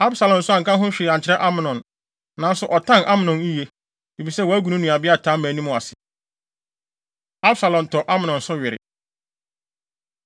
Absalom nso anka ho hwee ankyerɛ Amnon. Nanso ɔtan Amnon yiye, efisɛ wagu ne nuabea Tamar anim ase. Absalom Tɔ Amnon So Were